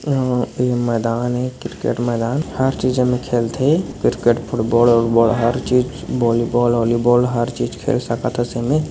यहाँ मैदान हे क्रिकेट मैदान हर चीजन खेलथे क्रिकेट फुटबॉल उटबॉल और हर चीज बोलीबाल ओलीबॉल हर चीज खेल सकत हस एमे।